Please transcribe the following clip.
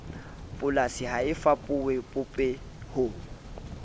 polasing ha e fapohe popehong